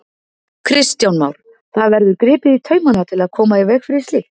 Kristján Már: Það verður gripið í taumana til að koma í veg fyrir slíkt?